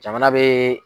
Jamana be